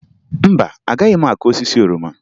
Mba, agaghị m akụ osisi oroma